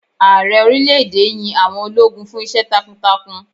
Ààrẹ orílè èdè yín àwọn ológun fún Iṣẹ́ takuntakun.